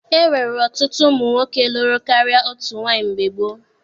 E nwere ọtụtụ ụmụ nwoke lụrụ karịa otu nwaanyị mgbe gboo